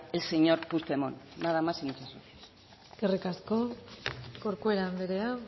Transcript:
el señor puigdemont nada más y muchas gracias eskerrik asko corcuera anderea